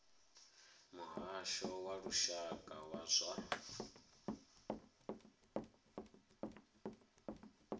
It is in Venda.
muhasho wa lushaka wa zwa